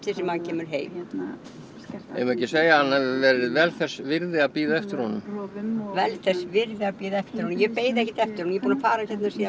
sem maður kemur heim eigum við ekki að segja að hann hafi verið vel þess virði að bíða eftir honum vel þess virði að bíða eftir honum ég beið ekkert eftir honum ég er búin að fara hérna síðan